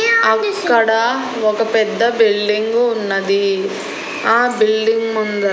అక్కడ ఒక పెద్ద బిల్డింగు ఉన్నది ఆ బిల్డింగ్ ముంద--